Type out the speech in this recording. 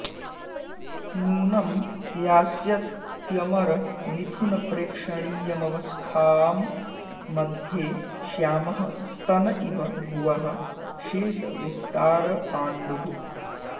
नूनं यास्यत्यमरमिथुनप्रेक्षणीयमवस्थां मध्ये श्यामः स्तन इव भुवः शेषविस्तारपाण्डुः